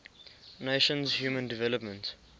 nations human development